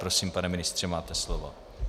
Prosím, pane ministře, máte slovo.